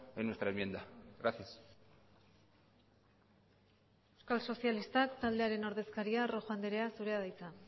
en nuestra enmienda gracias euskal sozialistak taldearen ordezkaria rojo andrea zurea da hitza